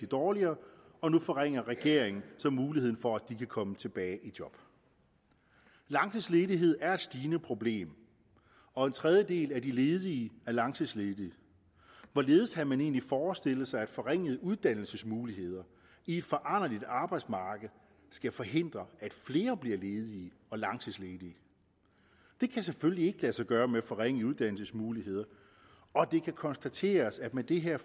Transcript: dårligere og nu forringer regeringen så muligheden for at de kan komme tilbage i job langtidsledighed er et stigende problem og en tredjedel af de ledige er langtidsledige hvorledes har man egentlig forestillet sig at forringede uddannelsesmuligheder i et foranderligt arbejdsmarked skal forhindre at flere bliver ledige og langtidsledige det kan selvfølgelig ikke lade sig gøre med forringede uddannelsesmuligheder og det kan konstateres at med det her